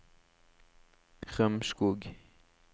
Rømskog